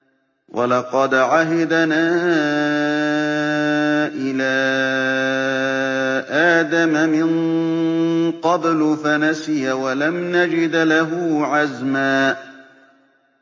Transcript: وَلَقَدْ عَهِدْنَا إِلَىٰ آدَمَ مِن قَبْلُ فَنَسِيَ وَلَمْ نَجِدْ لَهُ عَزْمًا